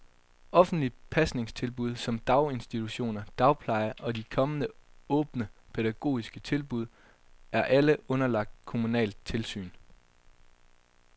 Offentlige pasningstilbud som daginstitutioner, dagpleje og de kommende åbne, pædagogiske tilbud er alle underlagt kommunalt tilsyn.